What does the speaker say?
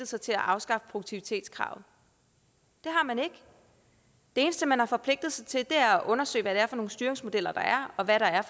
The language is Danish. sig til at afskaffe produktivitetskravet det har man ikke det eneste man har forpligtet sig til er at undersøge hvad det er for nogle styringsmodeller der er og hvad der er